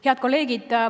Head kolleegid!